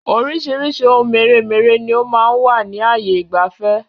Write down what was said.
Oríṣiríṣi oun mèremère ni ó máa ń wà ní ààyè ìgbafẹ́.